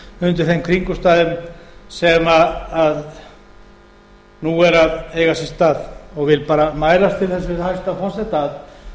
undir þeim kringumstæðum sem nú eru að eiga sér stað og vil mælast til þess við hæstvirtan forseta að